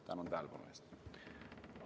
Tänan tähelepanu eest!